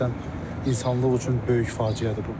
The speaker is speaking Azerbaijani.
Həqiqətən insanlıq üçün böyük faciədir bu.